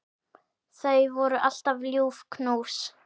Það voru alltaf ljúf knús.